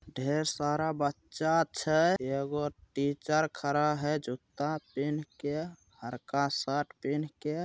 ढेर सारा बच्चा छे ऐगो टीचर खरा है जूता पेन्ह के बड़का शर्ट पेन्ह के--